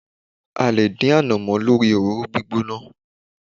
A lè dín ànàmọ́ lórí òróró gbígbóná.